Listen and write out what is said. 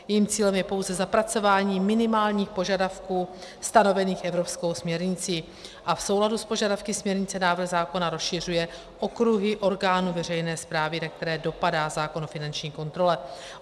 Jejím cílem je pouze zapracování minimálních požadavků stanovených evropskou směrnicí a v souladu s požadavky směrnice návrh zákona rozšiřuje okruhy orgánů veřejné správy, na které dopadá zákon o finanční kontrole.